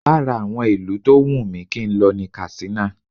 Lára àwọn ìlú tó wùn mí kí n lọ ní Katsina